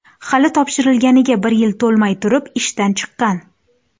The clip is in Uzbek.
Hali topshirilganiga bir yil to‘lmay turib, ishdan chiqqan.